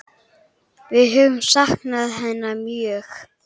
Við höfum saknað hennar mjög.